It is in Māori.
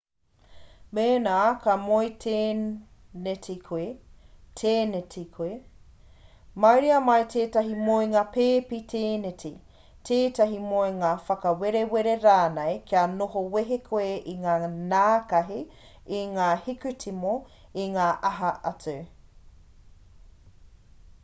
mēnā ka moe tēneti koe mauria mai tētahi moenga pēpi tēneti tētahi moenga whakawerewere rānei kia noho wehe koe i ngā nākahi i ngā hikutimo i ngā aha atu